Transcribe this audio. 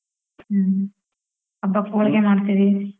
ಹ್ಮ್, ಹಬ್ಬಕ್ ಹೋಳಿಗೆ ಮಾಡ್ತಿವಿ.